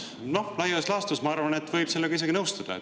Noh, laias laastus võib minu arvates sellega isegi nõustuda.